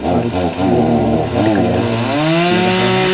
और इस बोर्ड में रेड कलर लगा हुआ है।